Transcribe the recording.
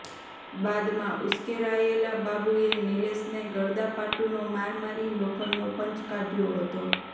બાદમાં ઉશ્કેરાયેલા બાબુએ નિલેશને ગડદાપાટુનો માર મારી લોખંડનો પંચ કાઢ્યો હતો